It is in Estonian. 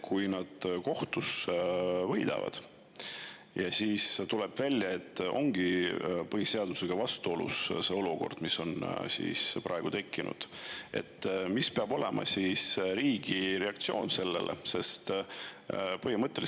Kui nad kohtus võidavad ja tuleb välja, et see olukord, mis on praegu tekkinud, ongi põhiseadusega vastuolus, siis milline on riigi reaktsioon sellele?